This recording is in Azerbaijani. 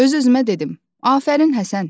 Öz-özümə dedim: "Afərin, Həsən!"